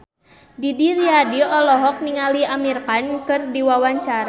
Didi Riyadi olohok ningali Amir Khan keur diwawancara